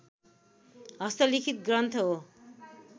हस्तलिखित ग्रन्थ हो